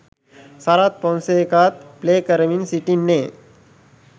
සරත් ෆොන්සේකාත් ප්ලේ කරමින් සිටින්නේ.